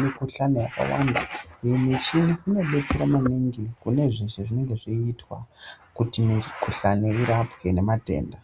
mikhuhlani yakawanda iyo michini inodetsera maningi kune zveshe zvinenge zveiitwa kuti mikhuhlani irapwe ngematenda.